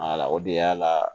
o de y'a la